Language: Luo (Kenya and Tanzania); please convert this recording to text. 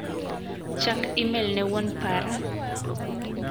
Chak imel ne wuon para.